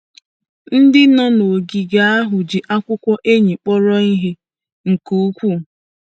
Ndị nọ n’ogige ahụ ji akwụkwọ anyị kpọrọ ihe nke ukwuu. ””